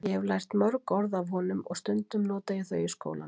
Ég hef lært mörg orð af honum og stundum nota ég þau í skólanum.